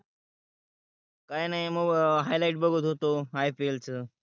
काही नाही, highlight बगत होतो IPL च